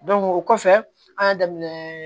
o kɔfɛ an y'a daminɛ